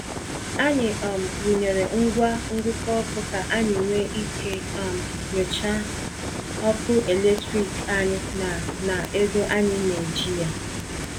Anyị um wụnyeere ngwa ngụkọ ọkụ ka anyị nwee ike um nyochaa ọkụ eletrik anyị na na ego anyị na-eji ya.